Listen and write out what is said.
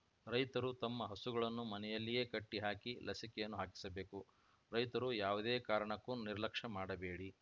ರೈತರು ತಮ್ಮ ಹಸುಗಳನ್ನು ಮನೆಯಲ್ಲಿಯೇ ಕಟ್ಟಿಹಾಕಿ ಲಸಿಕೆಯನ್ನು ಹಾಕಿಸಬೇಕು ರೈತರು ಯಾವುದೇ ಕಾರಣಕ್ಕೂ ನಿರ್ಲಕ್ಷ್ಯ ಮಾಡಬೇಡಿ